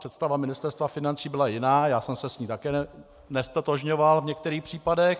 Představa Ministerstva financí byla jiná, já jsem se s ní také neztotožňoval v některých případech.